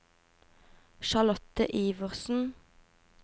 Charlotte Iversen